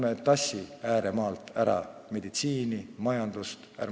Ärme tassime ääremaalt ära meditsiini ja majandust!